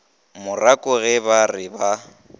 morako ge ba re ba